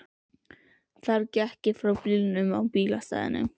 Þar gekk ég frá bílnum á bílastæðinu.